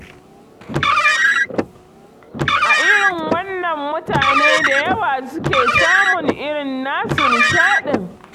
A irin wannan mutane da yawa suke samun irin nasu nishaɗin.